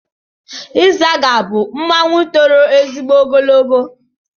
Ịzaga bụ mmanwụ toro ezigbo ogologo.